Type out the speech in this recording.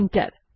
enter